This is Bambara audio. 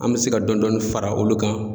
An bɛ se ka dɔɔni dɔɔni fara olu kan.